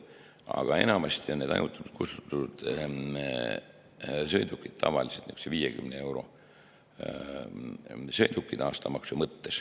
Aga enamasti on need ajutiselt kustutatud sõidukid aastamaksu mõttes niisugused 50 euro sõidukid.